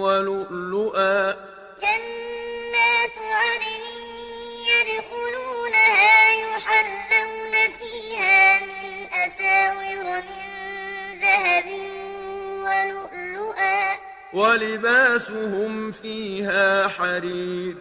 وَلُؤْلُؤًا ۖ وَلِبَاسُهُمْ فِيهَا حَرِيرٌ جَنَّاتُ عَدْنٍ يَدْخُلُونَهَا يُحَلَّوْنَ فِيهَا مِنْ أَسَاوِرَ مِن ذَهَبٍ وَلُؤْلُؤًا ۖ وَلِبَاسُهُمْ فِيهَا حَرِيرٌ